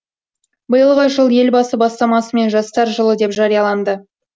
биылғы жыл елбасы бастамасымен жастар жылы деп жарияланды